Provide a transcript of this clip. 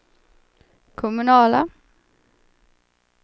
kommunala